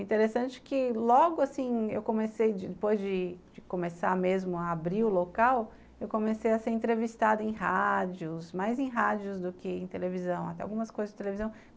Interessante que logo assim eu comecei, depois de começar mesmo a abrir o local, eu comecei a ser entrevistada em rádios, mais em rádios do que em televisão, até algumas coisas de televisão.